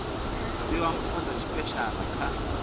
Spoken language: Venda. fhiwa mpho dza tshipeshala kha